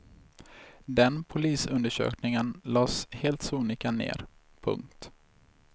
Den polisundersökningen lades helt sonika ner. punkt